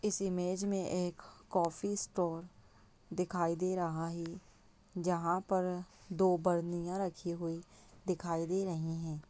इस इमेज में एक कॉफी स्टाल दिखाई दे रहा है जहाँ पर दो बर्नियाँ रखी हुई दिखाई दे रही है।